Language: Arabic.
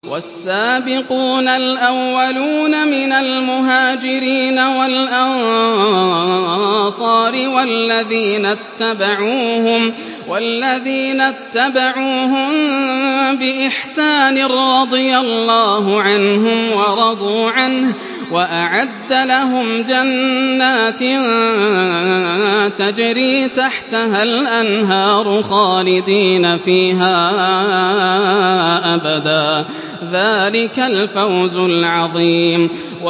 وَالسَّابِقُونَ الْأَوَّلُونَ مِنَ الْمُهَاجِرِينَ وَالْأَنصَارِ وَالَّذِينَ اتَّبَعُوهُم بِإِحْسَانٍ رَّضِيَ اللَّهُ عَنْهُمْ وَرَضُوا عَنْهُ وَأَعَدَّ لَهُمْ جَنَّاتٍ تَجْرِي تَحْتَهَا الْأَنْهَارُ خَالِدِينَ فِيهَا أَبَدًا ۚ ذَٰلِكَ الْفَوْزُ الْعَظِيمُ